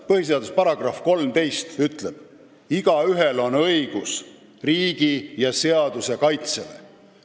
Põhiseaduse § 13 ütleb: "Igaühel on õigus riigi ja seaduse kaitsele.